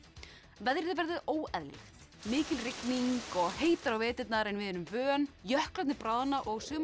veðrið verður óeðlilegt mikil rigning og heitara á veturna en við erum vön jöklarnir bráðna og sumar